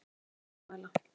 Ég vil mótmæla.